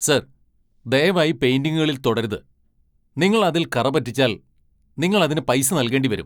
Sir, ദയവായി പെയിന്റിങ്ങുകൾ തൊടരുത്! നിങ്ങൾ അതിൽ കറ പറ്റിച്ചാൽ നിങ്ങൾ അതിന് പൈസ നൽകേണ്ടി വരും.